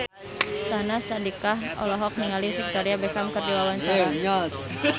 Syahnaz Sadiqah olohok ningali Victoria Beckham keur diwawancara